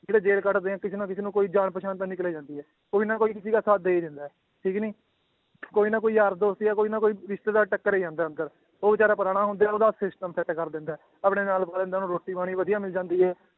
ਜਿਹੜੇ ਜੇਲ੍ਹ ਕੱਟਦੇ ਹੈ ਕਿਸੇ ਨਾ ਕਿਸੇ ਨੂੰ ਕੋਈ ਜਾਣ ਪਛਾਣ ਤਾਂ ਨਿਕਲ ਆਉਂਦੀ ਹੈ, ਕੋਈ ਨਾ ਕੋਈ ਕਿਸੇ ਦਾ ਸਾਥ ਦੇ ਹੀ ਦਿੰਦਾ ਹੈ ਠੀਕ ਨੀ ਕੋਈ ਨਾ ਕੋਈ ਯਾਰ ਦੋਸਤ ਜਾਂ ਕੋਈ ਨਾ ਕੋਈ ਰਿਸਤੇਦਾਰ ਟੱਕਰ ਹੀ ਜਾਂਦਾ ਹੈ ਅੰਦਰ ਉਹ ਬੇਚਾਰਾ ਪੁਰਾਣਾ ਹੁੰਦੇ ਹੈ ਉਹਦਾ system ਕਰ ਦਿੰਦਾ ਹੈ, ਆਪਣੇ ਨਾਲ ਪਾ ਲੈਂਦਾ ਉਹਨੂੰ ਰੋਟੀ ਪਾਣੀ ਵਧੀਆ ਮਿਲੀ ਜਾਂਦੀ ਹੈ